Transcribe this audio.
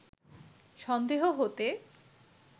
সন্দেহ হতে